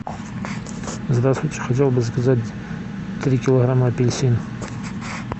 здравствуйте хотел бы заказать три килограмма апельсин